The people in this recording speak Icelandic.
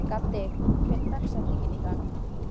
Gaddi, hver er dagsetningin í dag?